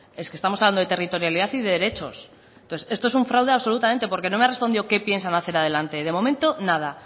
es que estamos hablando de territorialidad y de derechos entonces esto es un fraude absolutamente porque no me ha respondido qué piensan hacer adelante de momento nada